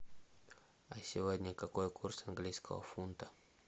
а сегодня какой курс английского фунта